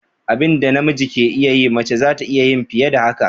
Abinda na miji ke iya yi, mace zata iya yin fiye da haka.